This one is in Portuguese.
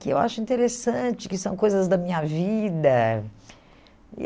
que eu acho interessante, que são coisas da minha vida.